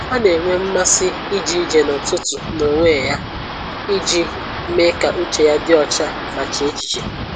Ọ na-enwe mmasị ije ije n'ụtụtụ n'onwe ya iji mee ka uche ya dị ọcha ma chee echiche